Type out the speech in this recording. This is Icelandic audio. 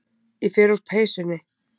Ég fer úr peysunni.